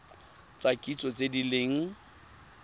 tsa kitso tse di leng